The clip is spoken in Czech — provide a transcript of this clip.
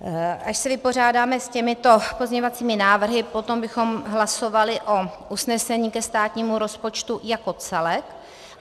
Až se vypořádáme s těmito pozměňovacími návrhy, potom bychom hlasovali o usnesení ke státnímu rozpočtu jako celku.